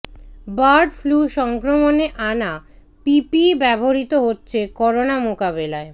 bird flu সংক্রমণে আনা PPE ব্যবহৃত হচ্ছে করোনা মোকাবিলায়